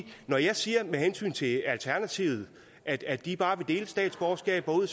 når jeg siger med hensyn til alternativet at at de bare vil dele statsborgerskaber ud